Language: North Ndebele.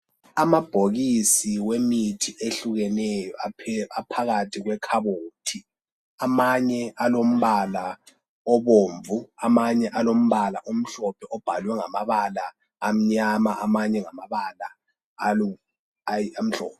Amabhokisi emithi ehlukeneyo aphakathi kwekhabothi. Amanye alombala obomvu, amanye alombala omhlophe obhalwe ngamabala amnyama amanye ngamabala amhlophe.